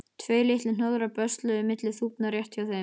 Tveir litlir hnoðrar bösluðu milli þúfna rétt hjá þeim.